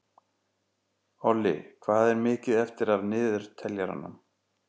Olli, hvað er mikið eftir af niðurteljaranum?